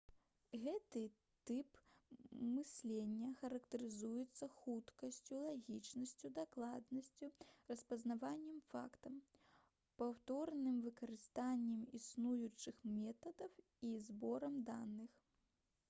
гэты тып мыслення характарызуецца хуткасцю лагічнасцю дакладнасцю распазнаваннем фактаў паўторным выкарыстаннем існуючых метадаў і зборам даных